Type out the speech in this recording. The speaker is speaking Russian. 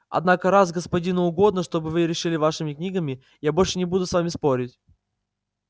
однако раз господину угодно чтобы вы решили вашими книгами я больше не буду с вами спорить